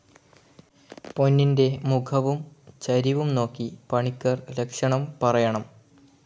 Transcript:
പൊന്നിൻ്റെ മുഖവും ചരിവും നോക്കി പണിക്കർ ലക്ഷണം പറയണം.